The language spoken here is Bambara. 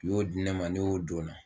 U y'o di ne ma, ne y'o don na